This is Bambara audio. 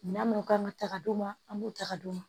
Minɛn minnu kan ka ta ka d'u ma an b'u ta ka d'u ma